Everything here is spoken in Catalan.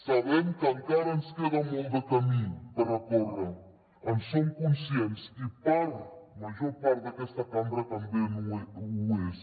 sabem que encara ens queda molt de camí per recórrer en som conscients i la major part d’aquesta cambra també n’és